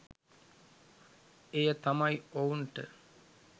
එය තමයි ඔවුන්ට